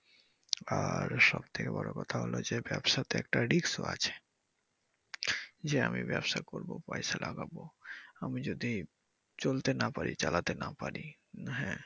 আর সবথেকে বড় কথা হচ্ছে ব্যাবসাতে একটা risk ও আছে যে আমি ব্যবসা করব পয়সা লাগাবো আমি যদি চলতে না পারি চালাতে না পারি উম হ্যা